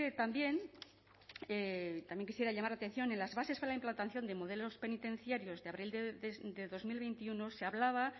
también y también quisiera llamar la atención en las bases para la implantación de modelos penitenciarios de abril de dos mil veintiuno se hablaba